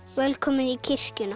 velkomin í kirkjuna